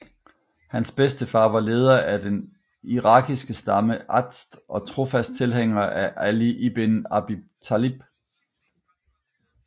Hans bedstefar var leder af den irakiske stamme Azd og trofast tilhænger af Ali ibn Abi Talib